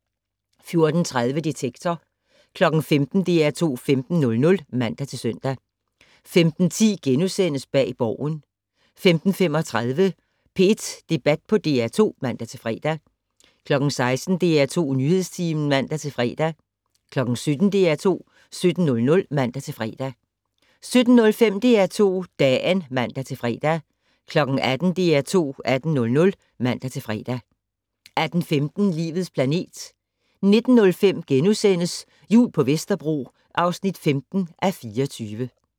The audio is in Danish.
14:30: Detektor 15:00: DR2 15:00 (man-søn) 15:10: Bag Borgen * 15:35: P1 Debat på DR2 (man-fre) 16:00: DR2 Nyhedstimen (man-fre) 17:00: DR2 17:00 (man-fre) 17:05: DR2 Dagen (man-fre) 18:00: DR2 18:00 (man-fre) 18:15: Livets planet 19:05: Jul på Vesterbro (15:24)*